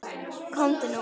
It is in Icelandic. Komdu út!